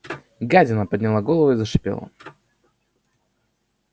гадина подняла голову и зашипела